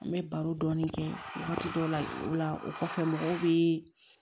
An bɛ baro dɔɔnin kɛ wagati dɔw la o la o kɔfɛ mɔgɔw bɛ